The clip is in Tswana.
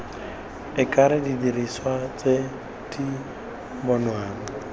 akaretsa didiriswa tse di bonwang